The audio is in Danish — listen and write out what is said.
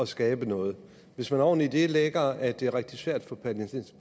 skabe noget hvis man oven i det lægger at det er rigtig svært for